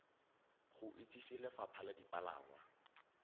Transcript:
go itsise lefapha la dipalangwa